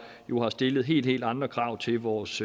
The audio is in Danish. har stillet helt helt andre krav til vores